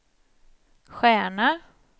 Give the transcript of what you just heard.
stjärna